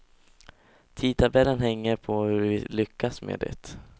Tidtabellen hänger på hur vi lyckas med det.